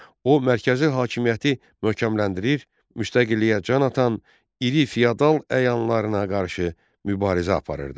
O, mərkəzi hakimiyyəti möhkəmləndirir, müstəqilliyə can atan iri fiodal əyanlarına qarşı mübarizə aparırdı.